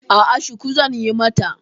A'a, shuku zan yi mata.